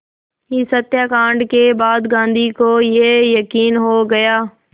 इस हत्याकांड के बाद गांधी को ये यक़ीन हो गया